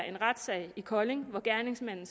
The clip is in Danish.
en retssag i kolding hvor gerningsmanden